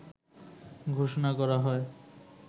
ঘোষনা করা হয়